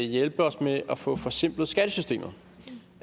hjælpe os med at få forsimplet skattesystemet